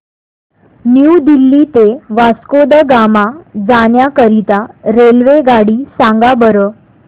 new Delhi ते वास्को द गामा जाण्या करीता रेल्वेगाडी सांगा बरं